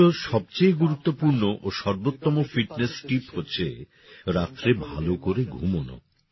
আমার কাছে সবচেয়ে গুরুত্বপূর্ণ ও সর্বোত্তম ফিটনেস টিপ হচ্ছে রাতে ভালো করে ঘুমনো